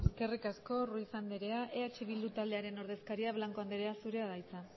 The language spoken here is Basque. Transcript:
eskerrik asko ruiz andrea eh bildu taldearen ordezkaria blanco andrea zurea da hitza